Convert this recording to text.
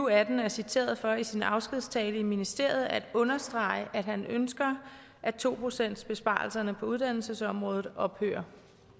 og atten er citeret for i sin afskedstale i ministeriet at understrege at han ønsker at to procentsbesparelserne på uddannelsesområdet ophører